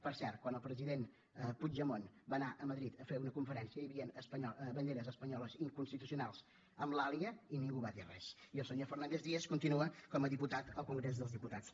per cert quan el president puigdemont va anar a madrid a fer una conferència hi havien banderes espanyoles inconstitucionals amb l’àliga i ningú va dir res i el senyor fernández díaz continua com a diputat al congrés dels diputats